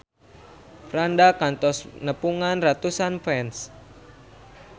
Franda kantos nepungan ratusan fans